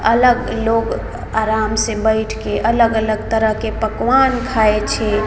अलग लोग आराम से बैठ के अलग-अलग तरह के पकवान खाय छै।